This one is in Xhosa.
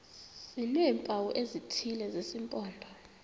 sineempawu ezithile zesimpondo